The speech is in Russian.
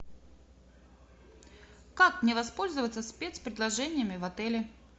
как мне воспользоваться спецпредложениями в отеле